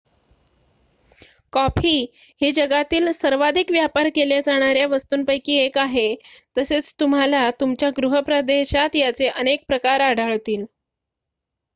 coffee ही जगातील सर्वाधिक व्यापार केल्या जाणाऱ्या वस्तूंपैकी 1 आहे तसेच तुम्हाला तुमच्या गृह प्रदेशात याचे अनेक प्रकार आढळतील